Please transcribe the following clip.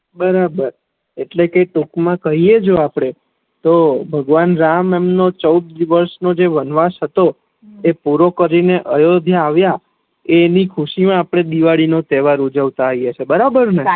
બરાબર એટલે ટૂંક મા કહીએ જો આપડે તો ભગવાન રામ એમનો ચૌદ વર્ષ નો જે વનવાસ હતો એ પૂરો કરી ને અયોધ્યા આવિયા એની ખુશી મા અપડે દિવાળી નો તેહવાર ઉજવતા હોઈએ છે બરોબર ને